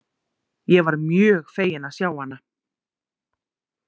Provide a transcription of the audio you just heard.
Ég var mjög fegin að sjá hana.